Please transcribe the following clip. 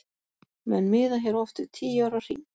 Menn miða hér oft við tíu ára hring.